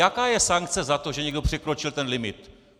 Jaká je sankce za to, že někdo překročil ten limit?